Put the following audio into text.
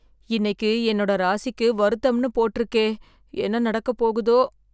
இன்னைக்கு என்னோட ராசிக்கு வருத்தம்ன்னு போட்டுருக்கே, என்ன நடக்கப் போதோ!